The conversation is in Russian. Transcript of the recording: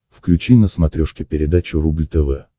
включи на смотрешке передачу рубль тв